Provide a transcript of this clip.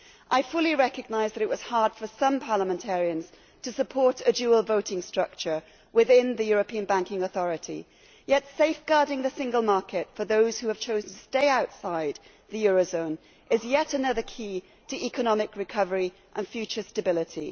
I fully recognise that it was hard for some parliamentarians to support a dual voting structure within the European banking authority, but safeguarding the single market for those who have chosen to stay outside the eurozone is yet another key to economic recovery and future stability.